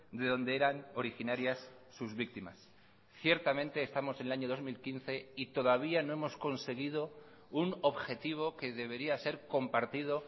de donde eran originarias sus víctimas ciertamente estamos en el año dos mil quince y todavía no hemos conseguido un objetivo que debería ser compartido